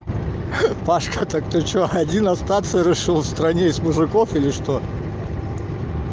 пашка так ты что один остаться решил в стране из мужиков или что